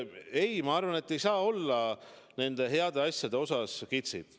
Ei, ma arvan, et ei saa olla nende heade otsuste kiitmisega kitsi.